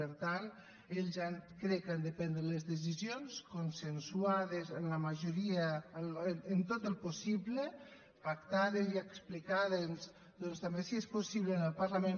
per tant ells crec que han de prendre les decisions consensuades amb la majoria en tot el possible pactades i explicades també si és possible en el parlament